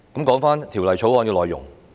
說回《條例草案》的內容。